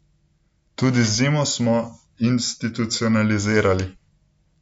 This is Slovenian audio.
Tudi zimo smo institucionalizirali!